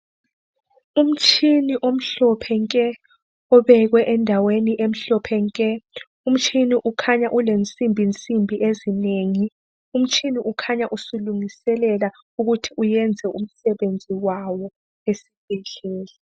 Umtshini omhlophe nke obekwe endaweni emhlophe nke umtshini ukhanya ulensimbi nsimbi ezinengi. Umtshini ukhanya usulungiselela ukuthi uyenze umsebenzi wawo esibhedlela.